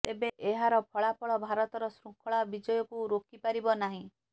ତେବେ ଏହାର ଫଳାଫଳ ଭାରତର ଶୃଙ୍ଖଳା ବିଜୟକୁ ରୋକିପାରିବ ନାହିଁ